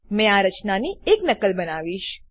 મેં આ રચનાની એક નકલ બનાવીશ